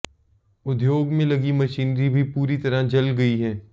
उद्योग में लगी मशीनरी भी पूरी तरह जल गई है